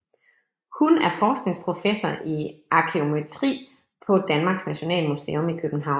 Hun er forskningsprofessor i arkæometri på Danmarks Nationalmuseum i København